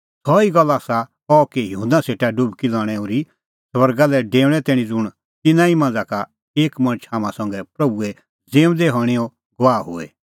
सह ई गल्ल आसा अह कि युहन्ना सेटा डुबकी लणै ओर्ही स्वर्गा लै डेऊणैं तैणीं ज़ुंण तिन्नां ई मांझ़ा का एक मणछ हाम्हां संघै प्रभूए ज़िऊंदै हणैंओ गवाह होए